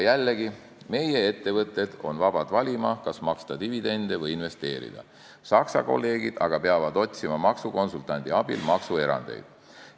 Jällegi, meie ettevõtted on vabad valima, kas maksta dividende või investeerida, Saksa kolleegid aga peavad otsima maksukonsultandi abil maksuerandeid.